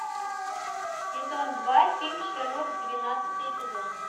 сезон два фильм шерлок двенадцатый эпизод